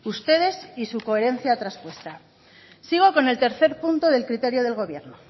ustedes y su coherencia traspuesta sigo con el tercer punto del criterio del gobierno